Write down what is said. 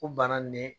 O banna nin ye